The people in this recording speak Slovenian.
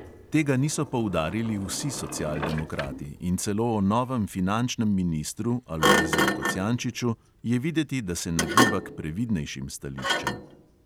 Tega niso poudarili vsi socialdemokrati in celo o novem finančnem ministru alojziju kocijančiču je videti, da se nagiba k previdnejšim stališčem.